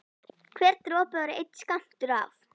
Hver dropi var einn skammtur af